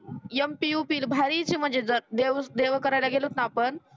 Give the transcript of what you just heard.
MP UP भारीच मजेदार देव देव करायला गेलोत ना आपण